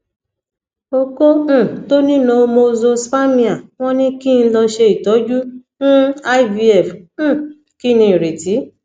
oko um to ni normozoospermia won ni ki n lo se itoju um ivf um kini ireti